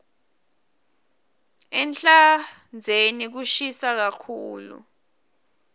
ehlandzeni kushisa kakhulu